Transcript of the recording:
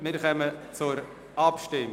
Wir kommen zur Abstimmung.